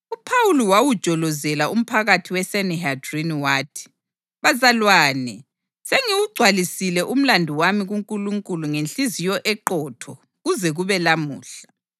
UPhawuli wawujolozela umphakathi weSanihedrini wathi, “Bazalwane, sengiwugcwalisile umlandu wami kuNkulunkulu ngenhliziyo eqotho kuze kube lamuhla.”